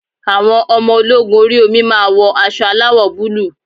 Àwọn ọmọ ológun orí omi máa wọ aṣọ aláwọ̀ búlúù.